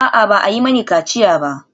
A'a, ba a yi mini kaciya ba.